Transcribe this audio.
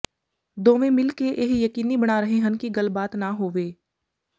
ਦੋਵੇਂ ਮਿਲ ਕੇ ਇਹ ਯਕੀਨੀ ਬਣਾ ਰਹੇ ਹਨ ਕਿ ਗੱਲਬਾਤ ਨਾ ਹੋਵੇ